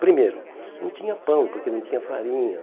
Primeiro, não tinha pão, porque não tinha farinha.